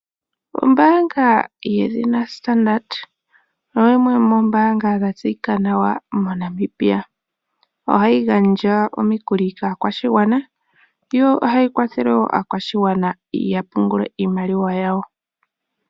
Ombaanga yedhina Standard Bank oyo yimwe yomoombanga dha tseyika nawa moNamibia. Ohayi gandja omikuli kaakwashigwana. Yo ohayi kwathele aakwashigwana ya pungule iimaliwa yawo .